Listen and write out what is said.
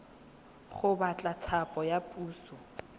go batla thapo ya puso